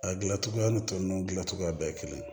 A gilan cogoya ni tɔ ninnu gilan cogoya bɛɛ ye kelen ye